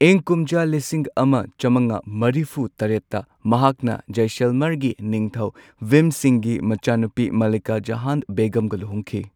ꯏꯪ ꯀꯨꯝꯖꯥ ꯂꯤꯁꯤꯡ ꯑꯃ ꯆꯝꯉꯥ ꯃꯔꯤꯐꯨ ꯇꯔꯦꯠꯇ ꯃꯍꯥꯛꯅ ꯖꯥꯢꯁꯜꯃꯔꯒꯤ ꯅꯤꯡꯊꯧ ꯚꯤꯝ ꯁꯤꯡꯍꯒꯤ ꯃꯆꯥꯅꯨꯄꯤ ꯃꯥꯂꯤꯀꯥ ꯖꯍꯥꯟ ꯕꯦꯒꯝꯒ ꯂꯨꯍꯣꯡꯈꯤ꯫